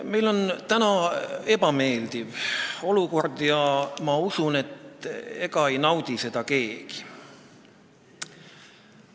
Meil on täna ebameeldiv olukord ja ma usun, et ega ei naudi seda keegi.